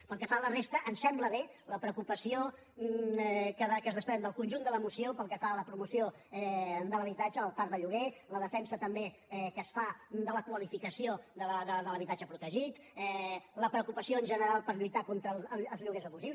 pel que fa a la resta ens sembla bé la preocupació que es desprèn del conjunt de la moció pel que fa a la promoció de l’habitatge el parc de lloguer la defensa també que es fa de la qualificació de l’habitatge protegit la preocupació en general per lluitar contra els lloguers abusius